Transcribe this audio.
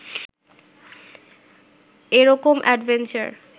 এরকম অ্যাডভেঞ্চার